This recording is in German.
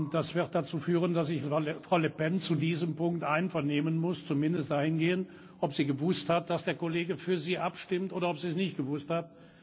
Das wird dazu führen, dass ich Frau Le Pen zu diesem Punkt einvernehmen muss, zumindest dahingehend, ob sie gewusst hat, dass der Kollege für sie abstimmt oder ob sie es nicht gewusst hat.